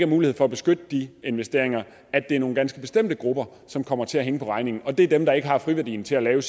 mulighed for at beskytte de investeringer at det er nogle ganske bestemte grupper som kommer til at hænge på regningen og det er dem der ikke har friværdien til at lave